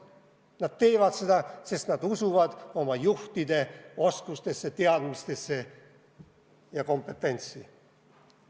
Nad teevad seda, sest nad usuvad oma juhtide oskustesse, teadmistesse ja kompetentsusesse.